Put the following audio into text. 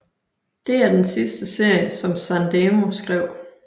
Det er den sidste serie som Sandemo skrev